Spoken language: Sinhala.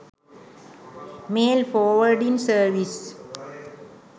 mail forwarding service